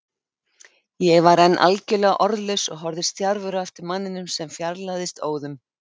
Ég var enn algjörlega orðlaus og horfði stjarfur á eftir manninum sem fjarlægðist óðum.